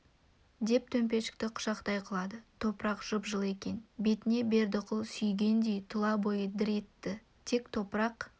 деп төмпешікті құшақтай құлады топырақ жып-жылы екен бетінен бердіқұл сүйгендей тұла бойы дір етті тек топырақ